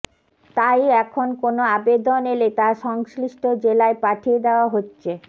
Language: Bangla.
তাই এখন কোন আবেদন এলে তা সংশ্লিষ্ট জেলায় পাঠিয়ে দেওয়া হচ্ছে